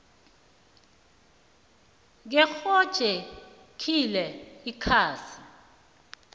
ngephrojekhthi le ikhasi